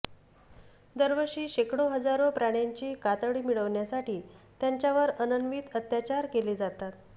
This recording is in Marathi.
दरवर्षी शेकडो हजारो प्राण्यांची कातडी मिळवण्यासाठी त्यांच्यावर अनन्वित अत्याचार केले जातात